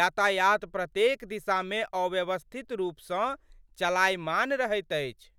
यातायात प्रत्येक दिशामे अव्यवस्थित रूपसँ चलायमान रहैत अछि।